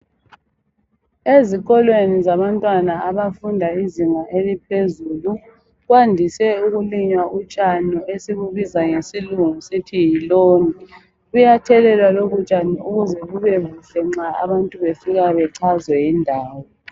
Ezikolweni zabantwana abafunda izinga eliphezulu kwandise ukulinywa utshani esibubiza ngesilungu sithi yiloni. Buyathelelwa lobutshani ukuze bubebuhle nxa abantu befika bechazwe yindawo